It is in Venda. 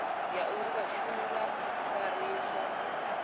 ya uri vhashumi vha fariswa